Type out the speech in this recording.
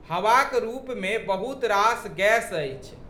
हवाक रूपमे बहुत रास गैस अछि।